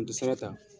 N tɛ sira ta